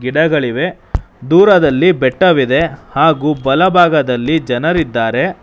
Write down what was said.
ಗಿಡಗಳಿವೆ ದೂರದಲ್ಲಿ ಬೆಟ್ಟವಿದೆ ಹಾಗೂ ಬಲಭಾಗದಲ್ಲಿ ಜನರಿದ್ದಾರೆ.